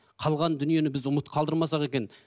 қалған дүниені біз ұмыт қалдырмасақ екен